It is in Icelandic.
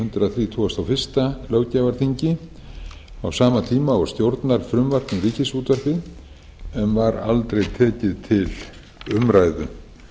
hundrað þrjátíu og eitt löggjafarþingi á sama tíma og stjórnarfrumvarp um ríkisútvarpið en var aldrei tekið til umræðu